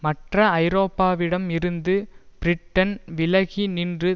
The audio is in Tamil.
மற்ற ஐரோப்பாவிடம் இருந்து பிரிட்டன் விலகி நின்று